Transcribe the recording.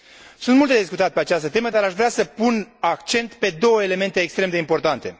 Sunt multe de discutat pe această temă, dar aș vrea să pun accent pe două elemente extrem de importante